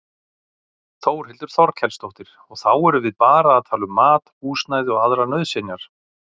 Þórhildur Þorkelsdóttir: Og þá erum við bara að tala um mat, húsnæði og aðrar nauðsynjar?